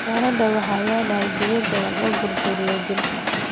Qajaarada waxay leedahay biyo badan oo burburinaya jirka.